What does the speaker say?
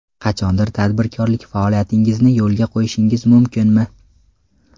Qachondir tadbirkorlik faoliyatingizni yo‘lga qo‘yishingiz mumkinmi?